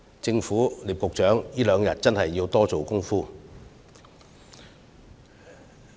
政府及聶局長在這兩天真的要多下工夫。